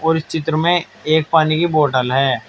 और इस चित्र में एक पानी की है।